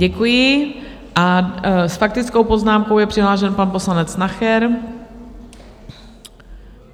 Děkuji a s faktickou poznámkou je přihlášen pan poslanec Nacher.